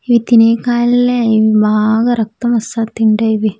ఇవి తినే కాయల్లే ఇవ్వి బాగా రక్తం వస్తాది తింటే ఇవి.